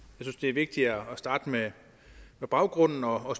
synes det er vigtigere at starte med baggrunden og